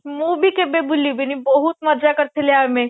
ମୁଁ ବି କେବେ ଭୁଲିବିନି ବହୁତ ମଜା କରିଥିଲେ ଆମେ